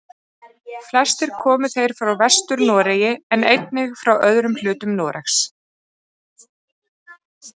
Flestir komu þeir frá Vestur-Noregi en einnig frá öðrum hlutum Noregs.